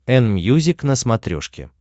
энмьюзик на смотрешке